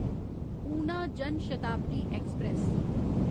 Una Jan Shatabdi express